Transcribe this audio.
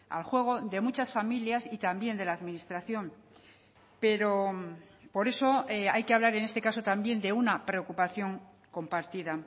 al juego de muchas familias y también de la administración pero por eso hay que hablar en este caso también de una preocupación compartida